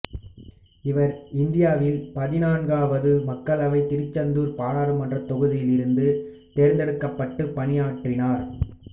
இவர் இந்தியாவின் பதினான்காவது மக்களவையில் திருச்செந்தூர் பாராளுமன்றத் தொகுதியிலிருந்து தேர்ந்தெடுக்கப்பட்டு பணியாற்றினார்